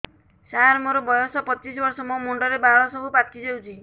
ସାର ମୋର ବୟସ ପଚିଶି ବର୍ଷ ମୋ ମୁଣ୍ଡରେ ବାଳ ସବୁ ପାଚି ଯାଉଛି